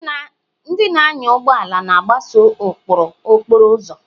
Ndị na-anya ụgbọ ala na-agbaso ụkpụrụ okporo ụzọ.